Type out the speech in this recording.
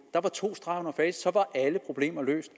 var der to streger under facit og så var alle problemer løst